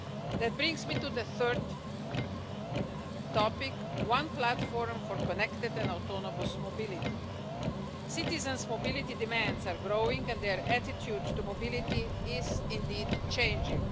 That brings me to the third topic one platform for connected and autonomous mobility. Citizens' mobility demands are growing, and their attitude to mobility is indeed changing.